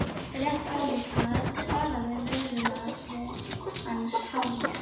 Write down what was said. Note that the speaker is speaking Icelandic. Rétt ályktað svaraði velunnari hans, hárrétt.